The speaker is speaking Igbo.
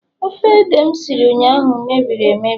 ofe ede m siri ụnyahụ mebiri emebie